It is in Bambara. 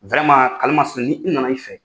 virɛman karimasinɛ ni n nana i fɛ